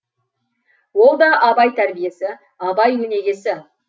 ол да абай тәрбиесі абай өнегесі